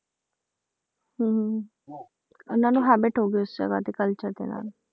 ਹਮ ਉਹਨਾਂ ਨੂੰ habit ਹੋ ਗਈ ਉਸ ਜਗ੍ਹਾ ਦੇ culture ਦੇ ਨਾਲ